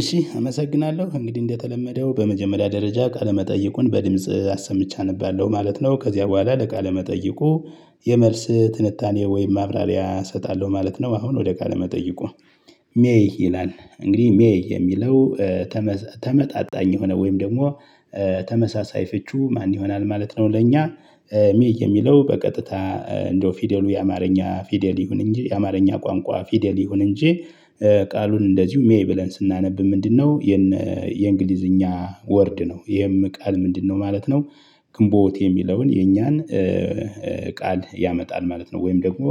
እሺ አመሰግናለው እንግዲ እንደተለመደው በመጀመሪያ ደረጃ ቃለ መጠይቁን በድምጽ አሰምቼ አነባለው ማለት ነው ከዚያ በኋላ ለቃለ መጠይቁ የመልስ ትንታኔ ወይም ማብራሪያ እሰጣለው ማለት ነው። አሁን ወደ ቃለ መጠይቁ። ሜይ ይላል እንግዲ ሜይ የሚለው። ተመጣጣኝ የሆነ ወይም ደሞ ተመሳሳይ ፍቹ ማን ይሆናል ማለት ነው። ለእኛ ሜይ የሚለው በቀጥታ እንደው ፊደሉ የአማርኛ ፊደል ይሁን እንጂ የአማርኛ ቋንቋ ፊደል ይሁን እንጂ። ቃሉን እንደዚው ሜይ ብለን ስናነብ ምንድነው የነ የእንግሊዝኛ ወርድ ነው ይሄም ቃል ምንድነው ማለት ነው። ግንቦት የሚለውን የኛን ቃል ያመጣል ማለት ነው። ወይም ደግሞ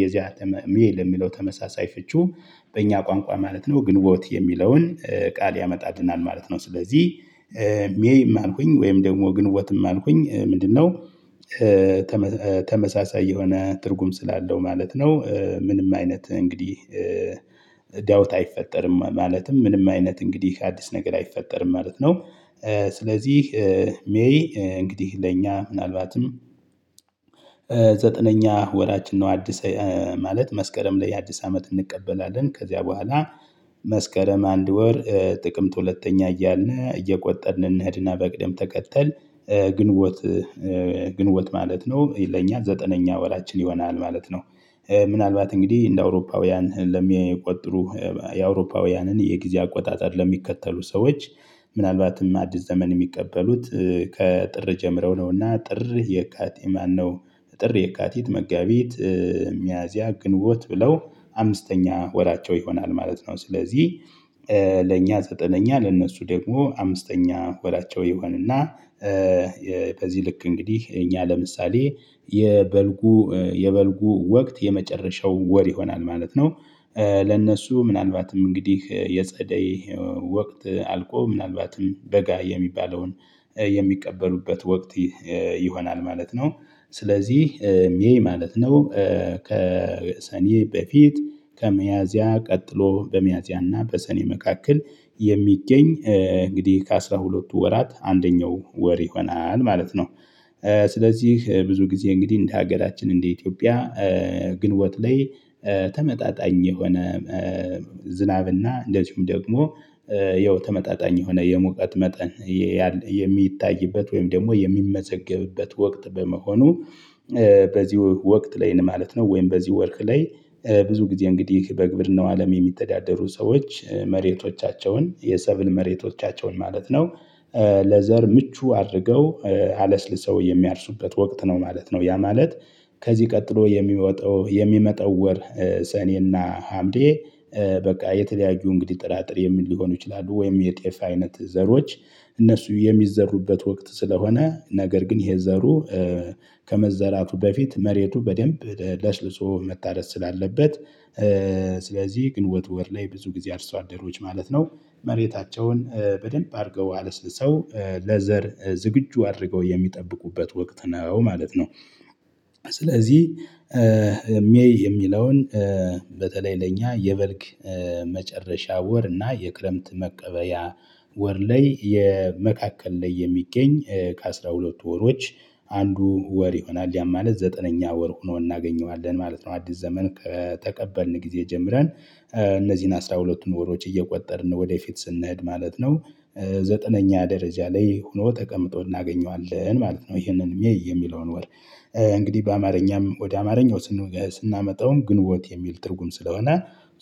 የዚያ ሜይ ለሚለው ተመሳሳይ ፍቺው በእኛ ቋንቋ ማለት ነው ግንቦት የሚለውን ቃል ያመጣልናል ማለት ነው። ስለዚ ሜይም አልኩኝ ወይም ደሞ ግንቦትም አልኩኝ ምንድነው? ተመሳሳይ የሆነ ትርጉም ስላለው ማለት ነው። ምንም አይነት እንግዲህ ዳውት አይፈጠርም ማለትም ምንም አይነት እንግዲህ አዲስ ነገር አይፈጠርም ማለት ነው። ስለዚህ ሜይ እንግዲህ ለእኛ ምናልባትም ዘጠነኛ ወራችን ነው። አዲስ ማለት መስከረም ላይ አዲስ አመት እንቀበላለን ከዚያ በኋላ። መስከረም አንድ ወር ጥቅምት ሁለተኛ እያልን እየቆጠርን እንሄድና በቅደም ተከተል። ግንቦት ግንቦት ማለት ነው ለኛ ዘጠነኛ ወራችን ይሆናል ማለት ነው። ምናልባት እንግዲ እንደ አውሮፓውያን ለሚቆጥሩ የአውሮፓውያንን የጊዜ አቆጣጠር ለሚከተሉ ሰዎች። ምናልባትም አዲስ ዘመን የሚቀበሉት ከጥር ጀምረው ነውና ጥር የካቲ ማነው? ጥር የካቲት መጋቢት ሚያዚያ ግንቦት ብለው አምስተኛ ወራቸው ይሆናል ማለት ነው። ስለዚ ለእኛ ዘጠነኛ ለእነሱ ደግሞ አምስተኛ ወራቸው ይሆንና። ከዚ ልክ እንግዲህ እኛ ለምሳሌ የበልጉ የበልጉ ወቅት የመጨረሻው ወር ይሆናል ማለት ነው። ለነሱ ምናልባትም እንግዲህ የጸደይ ወቅት አልቆ ምናልባትም በጋ የሚባለውን የሚቀበሉበት ወቅት ይሆናል ማለት ነው። ስለዚህ ሜይ ማለት ነው። ከሰኔ በፊት ከሚያዚያ ቀጥሎ በሚያዚያና በሰኔ መካከል የሚገኝ እንግዲህ ከ አስራ ሁለቱ ወራት አንደኛው ወር ይሆናል ማለት ነው። ስለዚህ ብዙ ግዜ እንግዲ እንደ ሀገራችን እንደ ኢትዮጵያ። ግንቦት ላይ ተመጣጣኝ የሆነ ዝናብና እንደዚሁም ደግሞ ያው ተመጣጣኝ የሆነ የሙቀት መጠን የሚታይበት ወይም ደሞ የሚመዘገብበት ወቅት በመሆኑ። በዚ ወቅት ላይ ማለት ነው ወይም በዚ ወርክ ላይ ብዙ ጊዜ እንግዲህ በግብርናው አለም የሚተዳደሩ ሰዎች መሬቶቻቸውን የሰብል መሬቶቻቸውን ማለት ነው። ለዘር ምቹ አድርገው አለስልሰው የሚያርሱበት ወቅት ነው ማለት ነው ያ ማለት። ከዚ ቀጥሎ የሚወጣው የሚመጣው ወር ሰኔና ሀምሌ። በቃ የተለያዩ እንግዲ ጥራጥሬም ሊሆኑ ይችላሉ ወይም የጤፍ አይነት ዘሮች እነርሱ የሚዘሩበት ወቅት ስለሆነ ነገር ግን ይሄ ዘሩ። ከመዘራቱ በፊት መሬቱ በደንብ ለስልሶ መታደስ ስላለበት ስለዚ ግን ወር ላይ ብዙ ግዜ አርሶ አደሮች ማለት ነው መሬታቸውን በደንብ አርገው አለስልሰው ለዘር ዝግጁ አድርገው የሚጠብቁበት ወቅት ነው ማለት ነው። ስለዚ ሜይ የሚለውን በተለይ ለእኛ የበልግ መጨረሻ ወር እና የክረምት መቀበያ ወር ላይ የመካከል ላይ የሚገኝ ከአስራ ሁለቱ ወሮች አንዱ ወር ይሆናል ያም ማለት ዘጠነኛ ወር ሆኖ እናገኘዋለን ማለት ነው። አዲስ ዘመን ከተቀበልን ጊዜ ጀምረን እነዚን አስራ ሁለቱን ወሮች እየቆጠርን ወደፊት ስንሄድ ማለት ነው። ዘጠነኛ ደረጃ ላይ ሆኖ ተቀምጦ እናገኘዋለን ማለት ነው። ይሄንን ሜይ የሚለውን ወር። እንግዲ በአማርኛም ወደ አማርኛው ስናመጣውም ግንቦት የሚል ትርጉም ስለሆነ።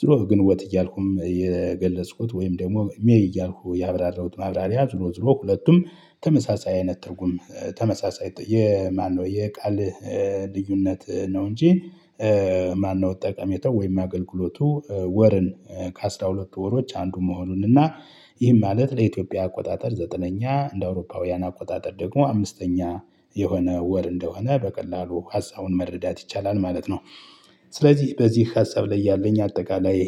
ዙሮ ግንቦት እያልኩም የገለጽኩት ወይም ደሞ ሜይ እያልኩ ያብራራውት ማብራሪያ ዙሮ ዙሮ ሁለቱም ተመሳሳይ አይነት ትርጉም ተመሳሳይ የማነው የቃል ልዩነት ነው እንጂ። ማነው? ጠቀሜታው ወይም አገልግሎቱ ወርን ከአስራ ሁለቱ ወሮች አንዱ መሆኑን እና ይህም ማለት ለኢትዮጵያ አቆጣጠር ዘጠነኛ እንደ አውሮፓውያን አቆጣጠር ደግሞ አምስተኛ የሆነ ወር እንደሆነ በቀላሉ ሀሳቡን መረዳት ይቻላል ማለት ነው። ስለዚህ በዚ ሀሳብ ላይ ያለኝ አጠቃላይ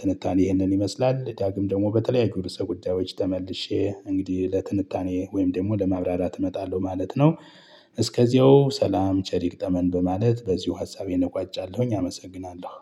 ትንታኔ ይህንን ይመስላል ዳግም ደሞ በተለያዩ ርዕሰ ጉዳዮች ተመልሼ እንግዲ ለትንታኔ ወይም ደሞ ለማብራራት እመጣለው ማለት ነው። እስከዚያው ሰላም ቸር ይግጠመን በማለት በዚው ሀሳቤን እቋጫለሁኝ አመሰግናለሁ።